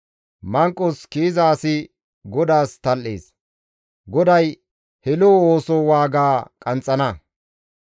Manqos kiyiza asi GODAAS tal7ees; GODAY he lo7o ooso waaga qanxxana.